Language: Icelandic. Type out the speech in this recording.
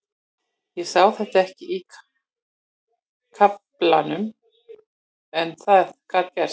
Ég sá þetta ekki í kortunum en það gat gerst.